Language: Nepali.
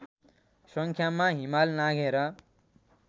सङ्ख्यामा हिमाल नाघेर